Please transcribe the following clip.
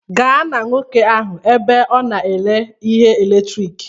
Gaa na nwoke ahụ ebe ahụ ọ na-ere ihe eletrik